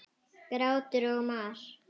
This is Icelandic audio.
Grátur og mar.